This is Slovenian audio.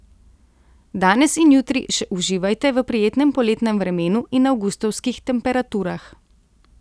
Danes in jutri še uživajte v prijetnem poletnem vremenu in avgustovskih temperaturah.